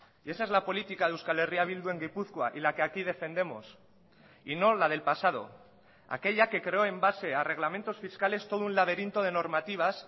y esa es la política de euskal herria bildu en gipuzkoa y la que aquí defendemos y no la del pasado aquella que creó en base a reglamentos fiscales todo un laberinto de normativas